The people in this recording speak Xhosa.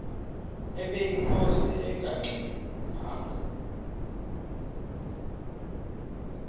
ubeyinkosi engangxe ngwanga